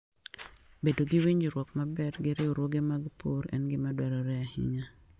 Bedo gi winjruok maber gi riwruoge mag pur en gima dwarore ahinya.